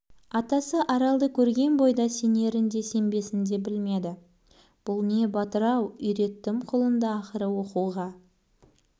атасы аралды көрген бойда сенерін де сенбесін де білмеді бұл не батыр-ау үйреттім құлынды ақыры оқуға